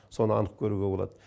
соны анық көруге болады